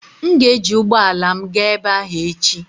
M ga-eji ụgbọ ala m gaa ebe ahụ echi.